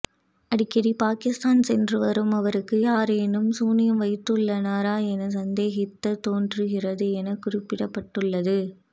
அடிக்கடி பாகிஸ்தான் சென்றுவரும் அவருக்கு யாரேனும் சூனியம் வைத்துள்ளனரா என சந்தேகிக்கத் தோன்றுகிறது என குறிப்பிடப்பட்டுள்ளது